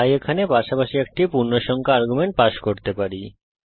তাই এখানে পাশাপাশি একটি পূর্ণসংখ্যা আর্গুমেন্ট পাস করতে পারি